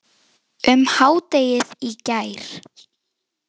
um hádegið í gær.